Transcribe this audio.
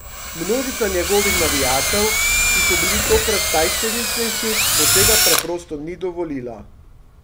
Množica njegovih navijačev, ki so bili tokrat najštevilnejši, mu tega preprosto ni dovolila.